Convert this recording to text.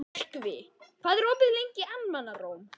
Myrkvi, hvað er opið lengi í Almannaróm?